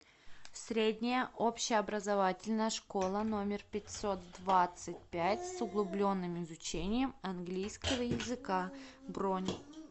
средняя общеобразовательная школа номер пятьсот двадцать пять с углубленным изучением английского языка бронь